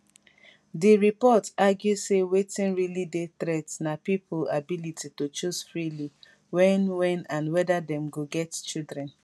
di report argue say wetin really dey threat na pipo ability to choose freely wen wen and weda dem go get children